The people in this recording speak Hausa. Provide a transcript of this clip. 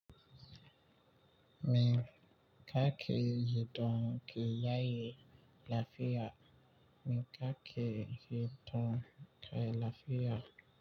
Mi ka ke ji don ki yaye lafiya. Mi ka ke ji don ka yaye lafiya.